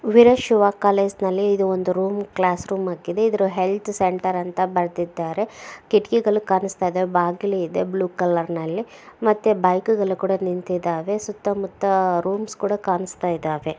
ವೀರ Shiva college ನಲ್ಲಿ ಇದು ಒಂದು ರೂಮ್ ಕ್ಲಾಸ್ ರೂಮ್ ಆಗಿದೆ ಇದ್ರೂ ಹೆಲ್ತ್ ಸೆಂಟರ್ ಅಂತ ಬರ್ದಿದ್ದಾರೆ ಕಿಟಕಿಗಳು ಕಾಣುಸ್ತಾ ಇದ್ದಾವೆ ಬಾಗ್ಲು ಇದೆ ಬ್ಲೂ ಕಲರ್ ನಲ್ಲಿ ಮತ್ತೆ ಬೈಕ್ ಗಳು ನಿಂತಿದಾವೆ ಸುತ್ತ ಮುತ್ತ ರೂಮ್ಸ್ ಕೂಡ ಕಾಣುಸ್ತಾ ಇದ್ದಾವೆ.